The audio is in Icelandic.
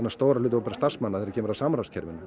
stóran hluta opinberra starfsmanna þegar kemur að